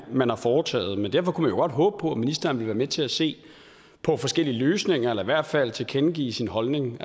man har foretaget men derfor kunne godt håbe på at ministeren ville være med til at se på forskellige løsninger eller i hvert fald tilkendegive sin holdning